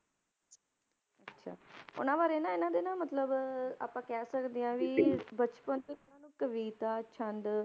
ਅੱਛਾ ਉਹਨਾਂ ਬਾਰੇ ਨਾ ਇਹਨਾਂ ਦੇ ਨਾ ਮਤਲਬ ਆਪਾਂ ਕਹਿ ਸਕਦੇ ਹਾਂ ਵੀ ਬਚਪਨ ਤੋਂ ਹੀ ਇਹਨਾਂ ਨੂੰ ਕਵਿਤਾ, ਛੰਦ,